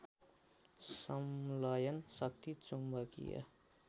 संलयन शक्ति चुम्बकीय